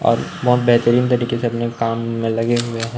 और बहोत बेहतरीन तरीके से अपने काम में लगे हुए हैं।